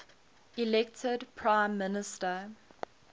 elected prime minister